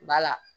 Bala